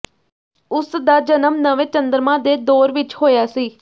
ਉਸਦਾ ਜਨਮ ਨਵੇਂ ਚੰਦਰਮਾ ਦੇ ਦੌਰ ਵਿੱਚ ਹੋਇਆ ਸੀ